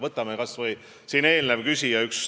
Võtame kas või ühe eelneva küsija.